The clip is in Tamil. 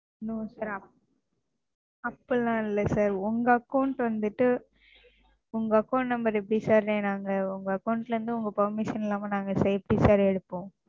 அப்படிலாம் இல்லை Sir உங்க Account வந்துட்டு உங்க Account number எப்படி Sir நாங்க உங்க Account ல இருந்து உங்க Permission இல்லாம நாங்க எப்படி Sir எடுப்போம்?